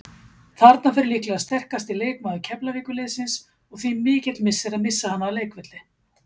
Þarna fer líklega sterkasti leikmaður Keflavíkurliðsins og því mikill missir að missa hana af velli.